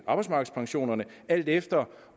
arbejdsmarkedspensionerne alt efter